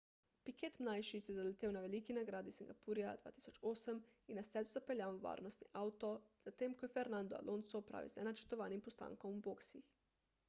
piquet mlajši se je zaletel na veliki nagradi singapurja 2008 in na stezo zapeljal varnostni avto tik zatem ko je fernando alonso opravil z nenačrtovanim postankom v boksih